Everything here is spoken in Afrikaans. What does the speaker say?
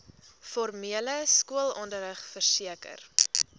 formele skoolonderrig verseker